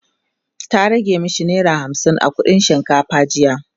ta rage mashi naira hamsin a kuɗin shinkafa jiya